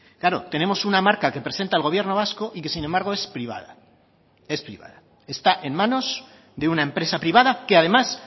claro tenemos una marca que presenta el gobierno vasco y que sin embargo es privada es privada está en manos de una empresa privada que además